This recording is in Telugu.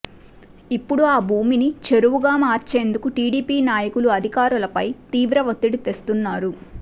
ఇప్పడు ఆ భూమిని చెరువుగా మార్చేందుకు టిడిపి నాయకులు అధికారులపై తీవ్ర వత్తిడి తెస్తున్నారు